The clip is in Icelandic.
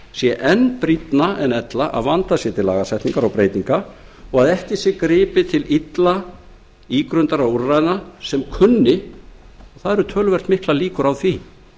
sé enn brýnna en ella að vandað sé til lagasetningar og breytinga og að ekki sé gripið til illa ígrundaðra úrræða sem kunni og það eru töluvert miklar líkur á því